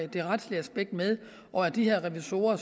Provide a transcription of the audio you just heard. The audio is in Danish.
det retslige aspekt med og at de her revisorer